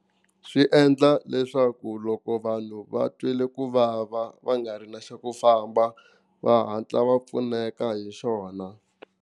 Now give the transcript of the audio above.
Swi endla leswaku loko vanhu va twile ku vava va nga ri na xa ku famba va hatla va pfuneka hi xona.